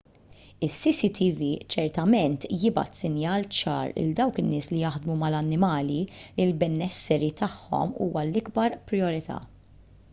is-cctv ċertament jibgħat sinjal ċar lil dawk in-nies li jaħdmu mal-annimali li l-benesseri tagħhom huwa l-ikbar prijorità